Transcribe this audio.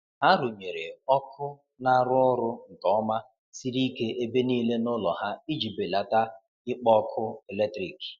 ha runyere ọkụ na arụ orụ nke oma siri ike ebe nile n'ulo ha iji belata ikpo ọkụ eletrikị